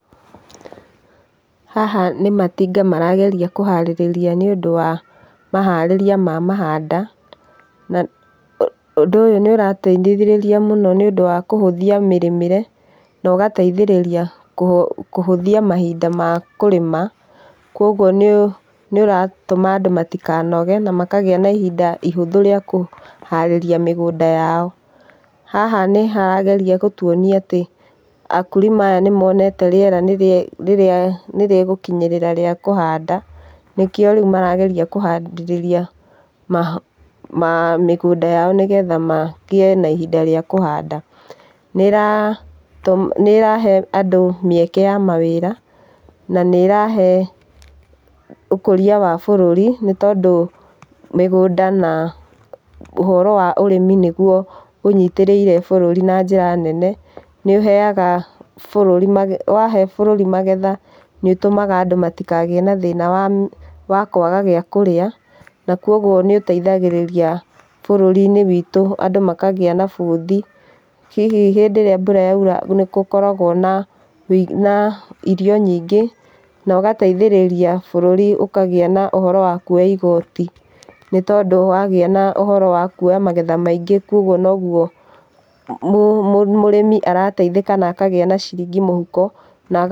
Haha nĩ matinga marageria kũharĩrĩria nĩũndũ wa, maharĩria wa mahanda, na ũndũ ũyũ nĩũrateithĩrĩria mũno nĩũndũ wa kũhũthia mĩrĩmĩre, na ũgateithĩrĩria kũhũthia mahinda ma kũrĩma, kwogũo nĩũratũma andũ matikanoge na makagĩa na ihinda ihũthũ rĩa kũharĩria mĩgũnda yao. Haha nĩharageria gũtũonia atĩ, akurima aya nimonete rĩera nĩrĩgũkinyĩrĩra rĩa kũhanda nĩkĩo rĩu marageria kũharĩrĩria mĩgũnda yao nĩgetha magĩe na ihinda rĩa kũhanda . Nĩĩrahe andũ mĩeke ya mawĩra na nĩ ĩrahee ũkũria wa bũrũri nĩtondũ mĩgũnda na ũhoro wa ũrĩmi nĩguo ũnyitĩrĩire bũrũri na njĩra nene. Nĩũheaga bũrũri magetha , wahee bũrũri magetha nĩutũmaga andũ matikagĩe na thĩna wa kwaga gĩakũrĩa na kwa ũgũo nĩũteithagĩrĩria bũrũri-inĩ witũ andũ makagĩa na bũthi. Hihi hĩndĩ ĩria mbura yaura nĩgũkoragwo na irio nyingĩ na ũgateithĩrĩria bũrũri ũkagĩa na ũhoro wa kuoya igoti, nĩtondũ wagĩa na ũhoro wa kuoya magetha maingĩ kwa ũguo noguo, mũrĩmi arateithĩka na akagĩa na ciringi mũhuko na.